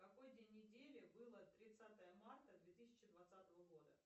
какой день недели было тридцатое марта две тысячи двадцатого года